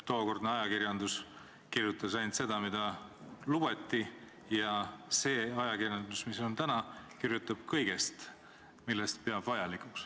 Tookordne ajakirjandus kirjutas ainult seda, mida lubati, ja see ajakirjandus, mis on täna, kirjutab kõigest, millest kirjutamist peab vajalikuks.